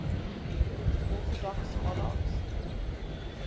orthodox monarchs